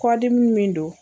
Kɔdimi min do